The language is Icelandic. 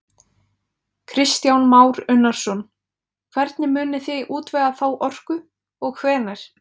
Kristján Már Unnarsson: Hvernig munið þið útvega þá orku og hvenær?